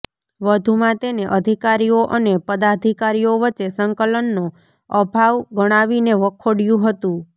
વધુમાં તેને અધિકારીઓ અને પદાધિકારીઓ વચ્ચે સંકલનનો અભાવ ગણાવીને વખોડયું હતું